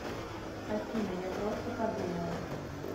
афина я просто подумал